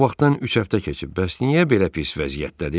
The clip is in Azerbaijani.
O vaxtdan üç həftə keçib, bəs niyə belə pis vəziyyətdədir?